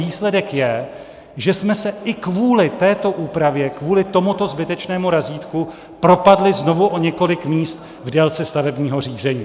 Výsledek je, že jsme se i kvůli této úpravě, kvůli tomuto zbytečnému razítku propadli znovu o několik míst v délce stavebního řízení.